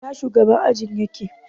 Ina shugaban ajin yake?